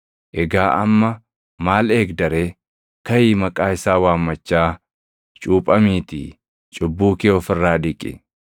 Egaa amma maal eegda ree? Kaʼii maqaa isaa waammachaa cuuphamiitii cubbuu kee of irraa dhiqi.’